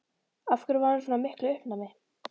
Af hverju hún var í svona miklu uppnámi.